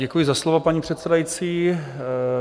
Děkuji za slovo, paní předsedající.